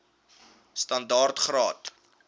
standaard graad or